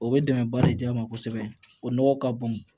O bɛ dɛmɛ ba de di yan nɔ kosɛbɛ o nɔgɔ ka bon